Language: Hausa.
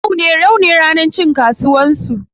Yau ne ranar cin kasuwan su.